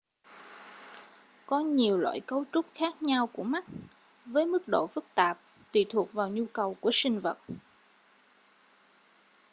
có nhiều loại cấu trúc khác nhau của mắt với mức độ phức tạp tùy thuộc vào nhu cầu của sinh vật